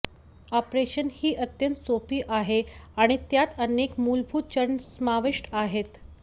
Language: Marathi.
ऑपरेशन ही अत्यंत सोपी आहे आणि त्यात अनेक मूलभूत चरण समाविष्ट आहेत